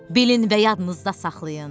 Bilin və yadınızda saxlayın.